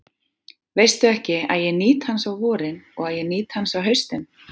Veistu ekki, að ég nýt hans á vorin og að ég nýt hans á haustin?